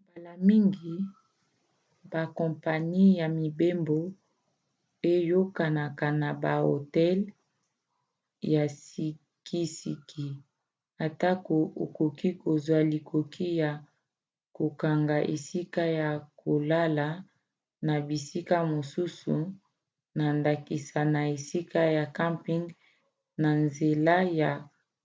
mbala mingi bakompani ya mibembo eyokanaka na bahotel ya sikisiki atako okoki kozwa likoki ya kokanga esika ya kolala na bisika mosusu na ndakisa na esika ya camping na nzela ya